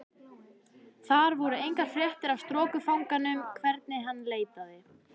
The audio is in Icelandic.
Þar voru engar fréttir af strokufanganum hvernig sem hann leitaði.